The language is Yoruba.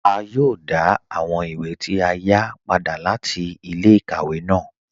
À yòò dá àwọn ìwé tí a yá padà láti ilẹ̀-ikàwẹ̀ ná